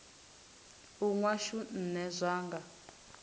u nwa shu nṋe zwanga